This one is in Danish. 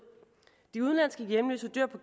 de udenlandske hjemløse dør på